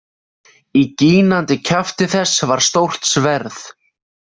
Í gínandi kjafti þess var stórt sverð.